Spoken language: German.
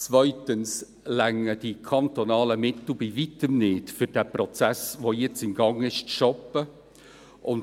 zweitens reichen die kantonalen Mittel bei Weitem nicht aus, um den Prozess, der jetzt im Gang ist, zu stoppen;